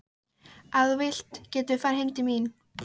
Ef þú vilt getum við farið heim til mín.